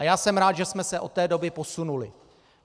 A já jsem rád, že jsme se od té doby posunuli.